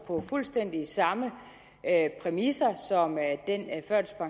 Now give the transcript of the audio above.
på fuldstændig samme præmisser